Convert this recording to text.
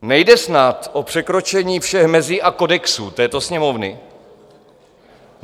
Nejde snad o překročení všech mezí a kodexů této Sněmovny?